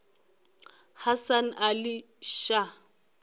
hasan ali shah